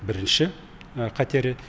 бірінші қатері